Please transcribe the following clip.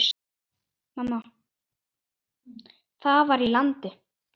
Það var í landi